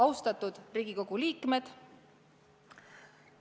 Austatud Riigikogu liikmed!